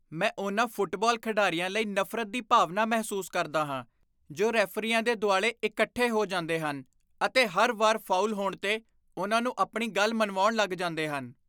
ਮੈਂ ਉਹਨਾਂ ਫੁੱਟਬਾਲ ਖਿਡਾਰੀਆਂ ਲਈ ਨਫ਼ਰਤ ਦੀ ਭਾਵਨਾ ਮਹਿਸੂਸ ਕਰਦਾ ਹਾਂ ਜੋ ਰੈਫ਼ਰੀਆਂ ਦੇ ਦੁਆਲੇ ਇਕੱਠੇ ਹੋ ਜਾਂਦੇ ਹਨ ਅਤੇ ਹਰ ਵਾਰ ਫਾਉਲ ਹੋਣ 'ਤੇ ਉਨ੍ਹਾਂ ਨੂੰ ਆਪਣੀ ਗੱਲ ਮਨਵਾਉਣ ਲਗ ਜਾਂਦੇ ਹਨ।